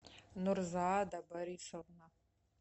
нурзаада борисовна